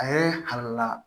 A ye halala